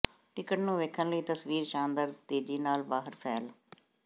ticket ਨੂੰ ਵੇਖਣ ਲਈ ਤਸਵੀਰ ਸ਼ਾਨਦਾਰ ਤੇਜ਼ੀ ਨਾਲ ਬਾਹਰ ਫੈਲ